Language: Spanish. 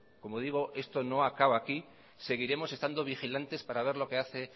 como digo esto no acaba aquí seguiremos estando vigilantes para ver lo que hace